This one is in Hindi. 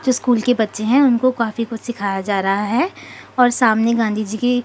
स्कूल के बच्चे हैं उनको काफी कुछ सिखाया जा रहा है और सामने गांधी जी की--